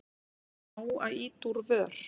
Er nóg að ýta úr vör?